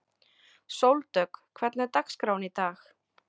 Sóldögg, hvernig er dagskráin í dag?